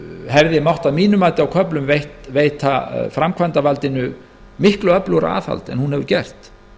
hefði að mínu mati á köflum mátt veita framkvæmdarvaldinu miklu öflugra aðhald en hún hefur gert